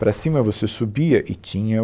Para cima você subia e tinha o...